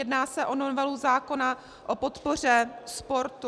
Jedná se o novelu zákona o podpoře sportu.